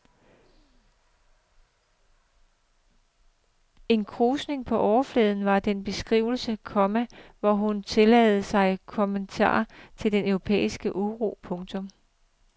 En krusning på overfladen var den beskrivelse, komma hun blev tillagt som kommentar til den europæiske uro. punktum